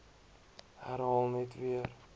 herhaal net weer